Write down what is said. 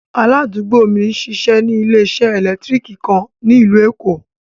Aládùúgbò mi n ṣíṣẹ́ ní ilẹ̀ṣẹ̀ èlẹ́ktríkì kan ní ílú Èkó.